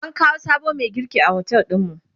an kawo sabon Mai girki a otel ɗinmu